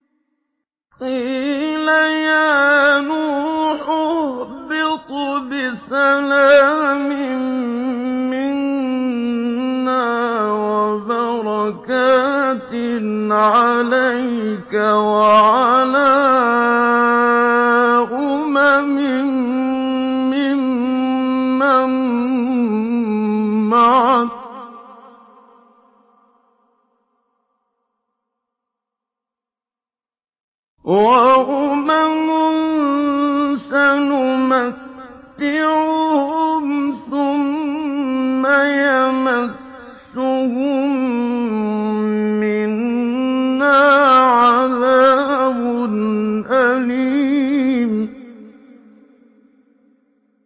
قِيلَ يَا نُوحُ اهْبِطْ بِسَلَامٍ مِّنَّا وَبَرَكَاتٍ عَلَيْكَ وَعَلَىٰ أُمَمٍ مِّمَّن مَّعَكَ ۚ وَأُمَمٌ سَنُمَتِّعُهُمْ ثُمَّ يَمَسُّهُم مِّنَّا عَذَابٌ أَلِيمٌ